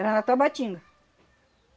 Era na Tabatinga.